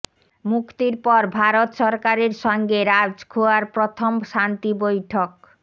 মুক্তির পর ভারত সরকারের সঙ্গে রাজখোয়ার প্রথম শান্তি বৈঠক